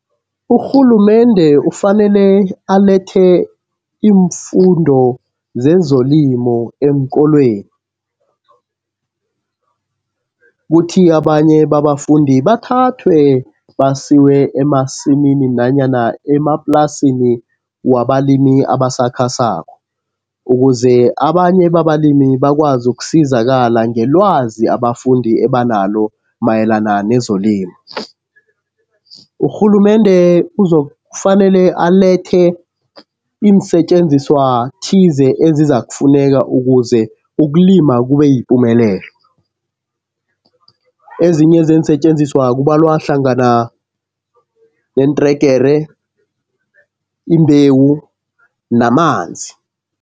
Urhulumende ufanele alethe iimfundo zezolimo eenkolweni. Kuthi abanye babafundi bathathwe basiwe emasimini nanyana emaplasini wabalimi abasakhasako, ukuze abanye babalimi bakwazi uzakusizakala ngelwazi abafundi ebanalo mayelana nezolimo. Urhulumende uzokufanele alethe iinsetjenziswa thize ezizakufuneka ukuze ukulima kube yipumelelo. Ezinye zeensetjenziswa kubalwa hlangana neentregere, imbewu namanzi.